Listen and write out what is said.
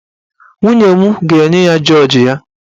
Nwunye m ga-enye ya jọọji ya.